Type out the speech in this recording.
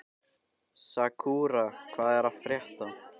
Sakura, hvað er að frétta?